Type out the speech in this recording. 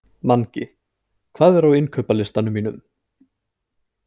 Mangi, hvað er á innkaupalistanum mínum?